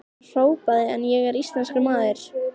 Hann hrópaði: En ég er íslenskur maður!